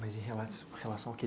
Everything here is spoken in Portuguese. Mas em relação... Relação a quê?